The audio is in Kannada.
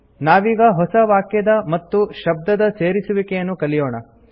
ನಾವೀಗ ಹೊಸ ವಾಕ್ಯದ ಮತ್ತು ಶಬ್ದದ ಸೇರಿಸುವಿಕೆಯನ್ನು ಕಲಿಯೋಣ